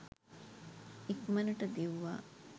ඉක්මනට දිව්වා